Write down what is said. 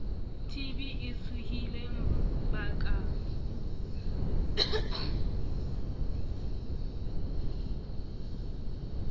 tb e tsohileng ba ka